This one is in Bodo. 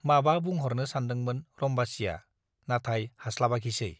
माबा बुंह'रनो सानदोंमोन रम्बासीया, नाथाय हास्लाबाखिसै ।